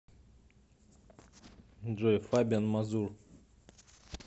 джой фабиан мазур